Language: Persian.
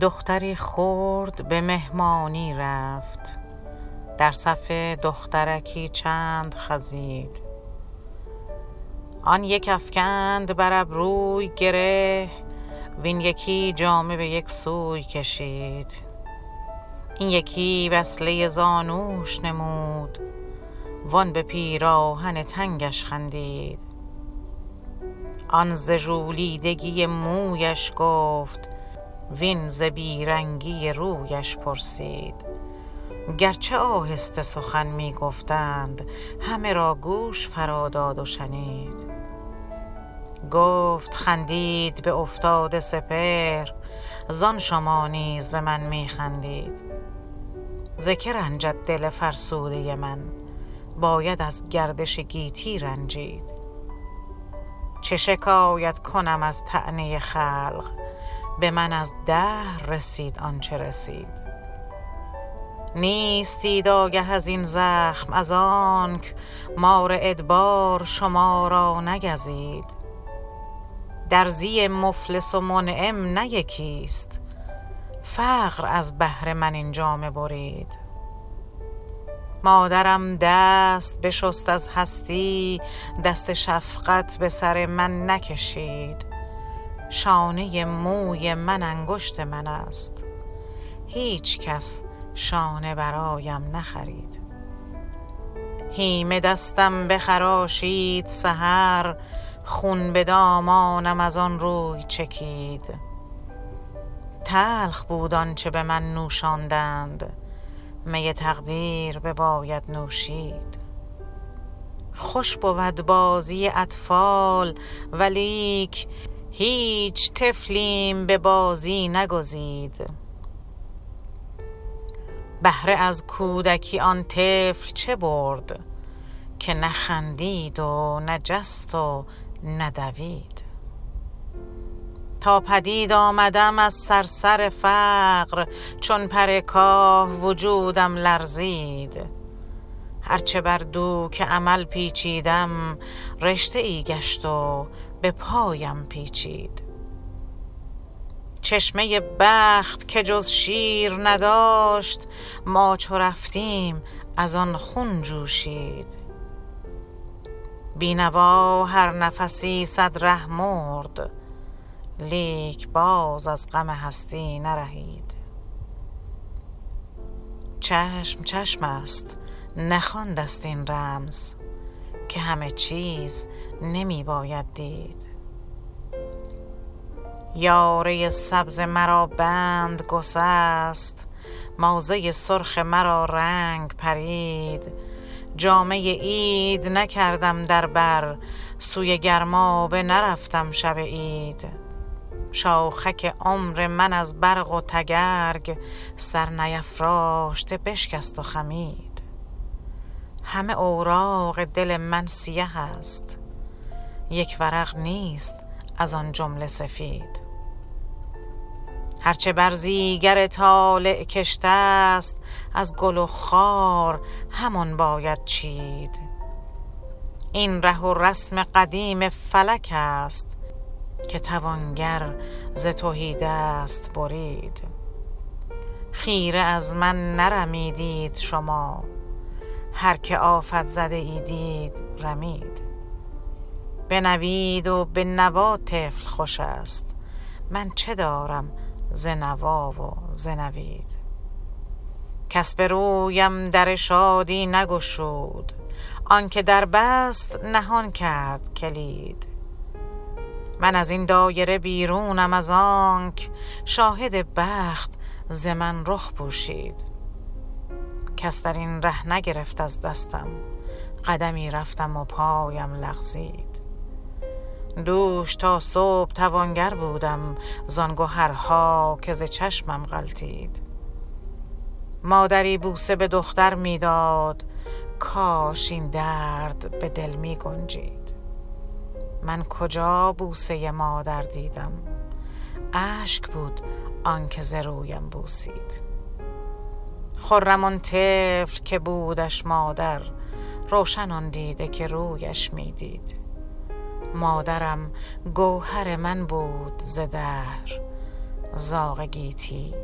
دختری خرد به مهمانی رفت در صف دخترکی چند خزید آن یک افکند بر ابروی گره وین یکی جامه به یک سوی کشید این یکی وصله زانوش نمود وان به پیراهن تنگش خندید آن ز ژولیدگی مویش گفت وین ز بیرنگی رویش پرسید گرچه آهسته سخن می گفتند همه را گوش فرا داد و شنید گفت خندید به افتاده سپهر زان شما نیز به من می خندید ز که رنجد دل فرسوده من باید از گردش گیتی رنجید چه شکایت کنم از طعنه خلق به من از دهر رسید آنچه رسید نیستید آگه ازین زخم از آنک مار ادبار شما را نگزید درزی مفلس و منعم نه یکی است فقر از بهر من این جامه برید مادرم دست بشست از هستی دست شفقت به سر من نکشید شانه موی من انگشت من است هیچکس شانه برایم نخرید هیمه دستم بخراشید سحر خون به دامانم از آنروی چکید تلخ بود آنچه به من نوشاندند می تقدیر بباید نوشید خوش بود بازی اطفال ولیک هیچ طفلیم به بازی نگزید بهره از کودکی آن طفل چه برد که نه خندید و نه جست و نه دوید تا پدید آمدم از صرصر فقر چون پر کاه وجودم لرزید هر چه بر دوک امل پیچیدم رشته ای گشت و به پایم پیچید چشمه بخت که جز شیر نداشت ما چو رفتیم از آن خون جوشید بینوا هر نفسی صد ره مرد لیک باز از غم هستی نرهید چشم چشم است نخوانده ست این رمز که همه چیز نمی باید دید یاره سبز مرا بند گسست موزه سرخ مرا رنگ پرید جامه عید نکردم در بر سوی گرمابه نرفتم شب عید شاخک عمر من از برق و تگرگ سر نیفراشته بشکست و خمید همه اوراق دل من سیه است یک ورق نیست از آن جمله سفید هر چه برزیگر طالع کشته است از گل و خار همان باید چید این ره و رسم قدیم فلک است که توانگر ز تهیدست برید خیره از من نرمیدید شما هر که آفت زده ای دید رمید به نوید و به نوا طفل خوش است من چه دارم ز نوا و ز نوید کس به رویم در شادی نگشود آنکه در بست نهان کرد کلید من از این دایره بیرونم از آنک شاهد بخت ز من رخ پوشید کس درین ره نگرفت از دستم قدمی رفتم و پایم لغزید دوش تا صبح توانگر بودم زان گهرها که ز چشمم غلطید مادری بوسه به دختر می داد کاش این درد به دل می گنجید من کجا بوسه مادر دیدم اشک بود آنکه ز رویم بوسید خرم آن طفل که بودش مادر روشن آن دیده که رویش می دید مادرم گوهر من بود ز دهر زاغ گیتی